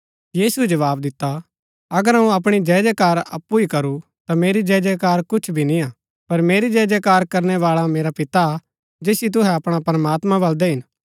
यीशुऐ जवाव दिता अगर अऊँ अपणी जयजयकार अप्पु ही करू ता मेरी जयजयकार कुछ भी निय्आ पर मेरी जयजयकार करणै बाळा मेरा पिता हा जैसियो तूहै अपणा प्रमात्मां बलदै हिन